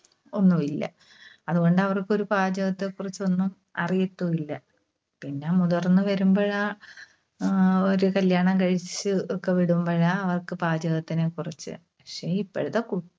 ഒന്നു ഇല്ല. അതുകൊണ്ട് അവർക്ക് ഒരു പാചകത്തെക്കുറിച്ച് ഒന്നും അറിയത്തുമില്ല. പിന്നെ മുതിർന്ന് വരുമ്പഴാ ആഹ് ഒരു കല്യാണം കഴിച്ചു ഒക്കെ വിടുമ്പഴാ അവർക്ക് പാചകത്തിനെകുറിച്ച്. പക്ഷേ ഇപ്പഴത്തെ കു~